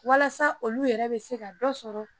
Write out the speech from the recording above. Walasa olu yɛrɛ bɛ se ka dɔ sɔrɔ